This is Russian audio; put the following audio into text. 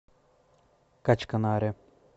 качканаре